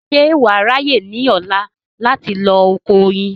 ṣé wà á ráyè ní ọ̀la láti lọ oko oyin